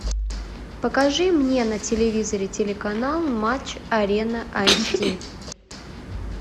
покажи мне на телевизоре телеканал матч арена айч ди